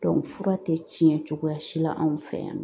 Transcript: fura tɛ tiɲɛ cogoya si la anw fɛ yan nɔ